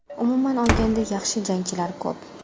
Umuman olganda, yaxshi jangchilar ko‘p.